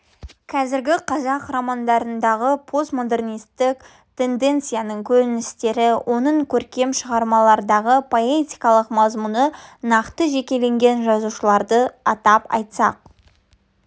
қазіргі қазақ романдарындағы постмодернистік тенденцияның көріністері оның көркем шығармалардағы поэтикалық мазмұны нақты жекелеген жазушылардың атап айтсақ